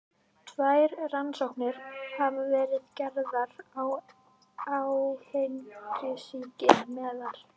Tvær rannsóknir hafa verið gerðar á áfengissýki meðal